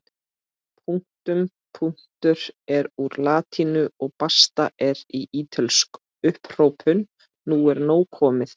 Punktum punktur er úr latínu og basta er ítölsk upphrópun nú er nóg komið!